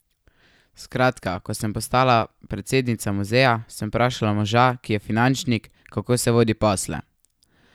Skratka, ko sem postala predsednica muzeja, sem vprašala moža, ki je finančnik, kako se vodi posle.